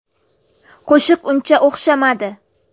Qo‘shiq uncha o‘xshamadi.